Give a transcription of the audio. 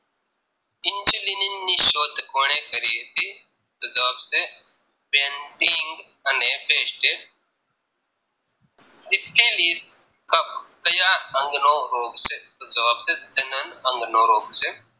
injalinani ની શોધ કોને કરી હતી તો જવાબ છે Banting અને best ટે Methylis કફ ક્યાં અંગનો રોગ છે તોજવાબ છે પ્રજનન અંગ નો રોગ છે